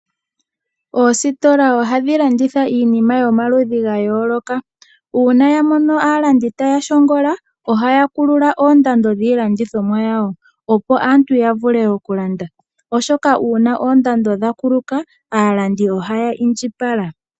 Oositola ohadhi landitha iinima yomaludhi ga yooloka, uuna yamono aalandi taya shongola ohaya kulula oondando dhiilandithomwa yawo opo aanti yavule okulandwa oshoka uuna oondando dha kuluka aalandi ohaya indjipala.